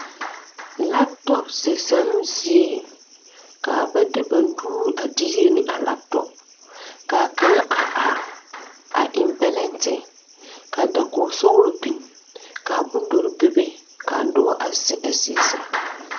Laptɔpse zanoo zie kaa ba de ba nuure a diire ne a laptɔp kaa kaŋa a are a eŋ bɛlɛnte ka dakoge sɔglɔ biŋ kaa bondɔre bebe kaa nobɔ a zeŋ a zie zaa.